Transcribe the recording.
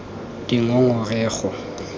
dingongorego